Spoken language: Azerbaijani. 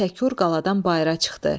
O Təkur qaladan bayıra çıxdı.